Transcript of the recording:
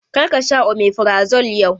Kar ka sha omeferazole yau!